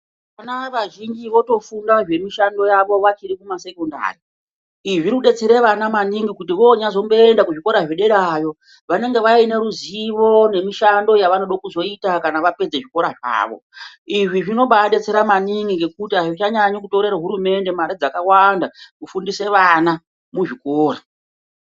Vana vazhinji votofunda zvemishando yavo vachiri kumasekondari. Izvi zvirikudetsera vana maningi kuti vonyazomboenda kuzvikora zvederayo vanenge vaine ruzivo nemishando yavanoda kuzoita kana vapedza zvechikora zvavo. Izvi zvinombadetsera maningi ngekuti azvichanyanyi kutorera hurumende mare dzakawanda kufundise vana muzvikora.